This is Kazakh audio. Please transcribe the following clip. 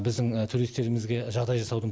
біздің туристерімізге жағдай жасаудың